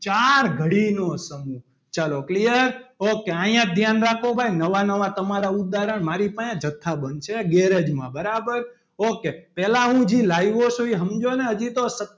ચાર ઘડીનો સમૂહ ચલો clear ok અહીંયા જ ધ્યાન રાખો ભાઈ નવા નવા તમારા ઉદાહરણ મારી પાસે જથ્થા બંધ છે ગેરેજમાં બરાબર ok પહેલા હું જે લાવ્યો છું એ સમજો ને હજી તો,